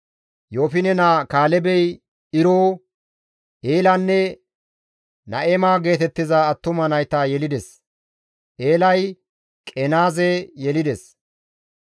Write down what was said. Yoofine naa Kaalebey Iro, Eelanne Na7ema geetettiza attuma nayta yelides; Eelay Qenaaze yelides.